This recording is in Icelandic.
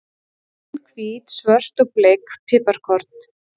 Græn, hvít, svört og bleik piparkorn.